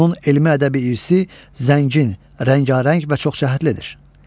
Onun elmi-ədəbi irsi zəngin, rəngarəng və çoxcəhətlidir.